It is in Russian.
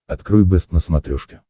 открой бэст на смотрешке